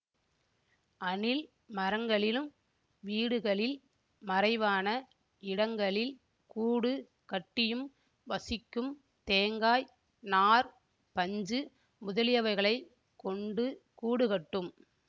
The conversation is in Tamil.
அணில் மரங்களிலும் வீடுகளில் மறைவான இடங்களில் கூடு கட்டியும் வசிக்கும் தேங்காய் நார் பஞ்சு முதலியவைகளைக் கொண்டு கூடுகட்டும்